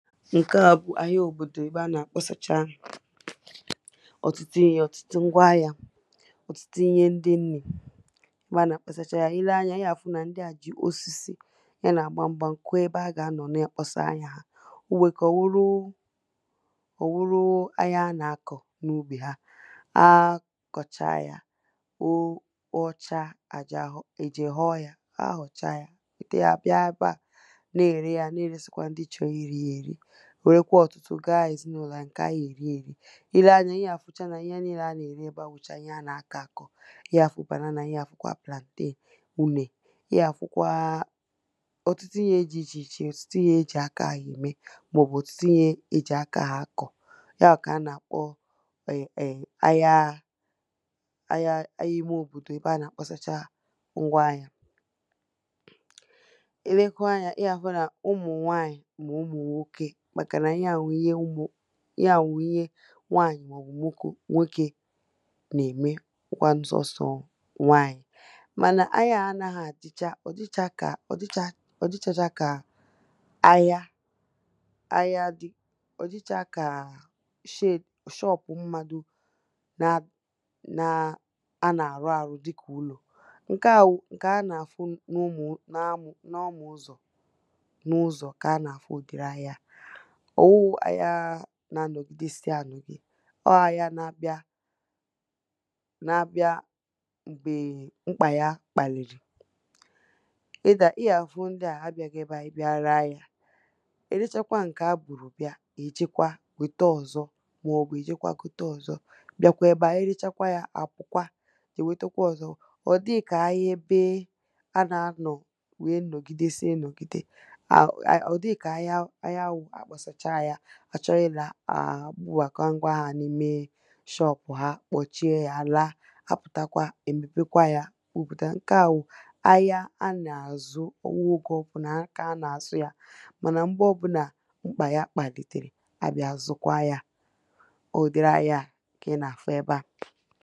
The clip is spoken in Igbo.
ǹke à bụ̀ ahịa òbòdò ebe a nà-àkpọsacha ọ̀tụtụ ihe ọ̀tụtụ ngwa ahịa ọ̀tụtụ ihe ndị nrī ebe a nà-àkpọsacha ahịa ile anyā ị gà àfụ nà ndị à jì osisi ya nà gbàmgbàm kụọ ebe ha gà anọ̀ na-àkpọsa ahịa onwè ike ọ̀wụlụ ahịa ha nà-akọ̀ n’ubì ha ha kọ̀cha ya, ọcha ha jee ghọọ ya ha họ̀cha yā èbute yā bịa ebe à n’ère yā n’èresikwa ndị chọrọ iri ya èri wèrekwa ọ̀tụtụ gaa èzinụlọ̀ ha ǹkè ha gà èri èri ile anyā ị gà àfụcha n’ihe niile a nà-ère ebe à wụ̀chà ihe a nà-akọ̀ akọ̀ ị ya àfụ banana ị ya àfụkwa plantain ùnè ị yà àfụkwa ọ̀tụtụ ihe dị ichè ichè, ọ̀tụtụ ihe ejì aka ème mà ọ̀bụ̀ ọ̀tụtụ ihe ejì aka akọ̀ yā kà a nà-àkpọ ahịa imē òbòdò ebe a nà-àkpọsacha ngwa ahịa ine kwa anyā ị gà àhụkwa n’ụmụ̀ nwaànyì mà ụmụ̀ nwokè màkànà ihe à bụ̀ ihe nwaanyi mà ọ̀bụ̀ nwokē nà-ème ọ̀wụ kwanụ sọ nsọ̀ nwaànyì mànà ahịa anagha àdịcha ọ̀ dịcha kà shop mmadụ̀ a nà-àrụ àrụ dịkà ụlọ̀ ǹke à wụ̀ ǹke a n’afụ n’ọmụ n’ụzọ̀ kà a n’àfụ ụ̀dịrị ahịa à ọ̀wụ ahịa n’anọ̀gide si ànọ̀ ọ ahịa n’abịa m̀gbè mkpà ya kpàlìrì ị gà àfụ ndị à abịaghị ebe à ị bịa ree ahịa erechakwa ǹkè ha bùrù bịa ha èjekwa wèta ọ̀zọ mà ọ̀bụ̀ ha èjekwa gote ọ̀zọ bịakwa ebe à erechakwa yā àpụ̀kwa èwètekwe ọ̀zọ ọ̀ dịghị kà ahịa ebe a n’anọ̀ wee nọ̀gidesie nọ̀gide ọ̀ dịghị kà ahịa wụ akpọsacha yā ha chọrụ ilā ha èbubàkwa ngwa ahịa n’ime shop ha kpọchie yā laa ha pụ̀takwa èmèpekwa yā wepụ̀ta ǹke à wụ ahịa a nà-àzụ ọ̀wụ oge ọbụnà kà a nà-àzụ yā mànà m̀gbe ọbụna mkpà ya kpàlìtèrè à bịa zụkwa ya ụdịrị ahịa kà ị nà-àfụ ebe à